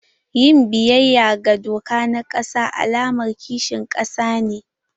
Yin biyayya ga doka na ƙasa alamar kishin ƙasa ne.